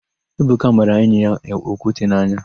Ebuka mara enyi ya okwute n'anya.